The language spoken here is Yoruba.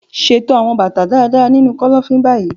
Ṣeto awọn bata daradara ninu kọlọfin ni bayi!